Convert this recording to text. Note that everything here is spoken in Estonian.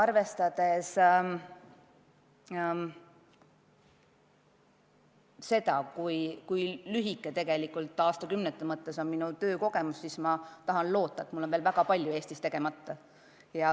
Arvestades seda, kui lühike tegelikult, kui aastakümnete arvu silmas pidada, on minu töökogemus, siis ma loodan, et mul on veel väga palju Eestis teha.